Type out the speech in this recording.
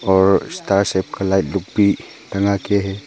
और star shape का light लोग भी टंगा के है।